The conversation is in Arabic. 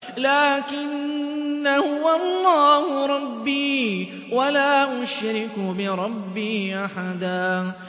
لَّٰكِنَّا هُوَ اللَّهُ رَبِّي وَلَا أُشْرِكُ بِرَبِّي أَحَدًا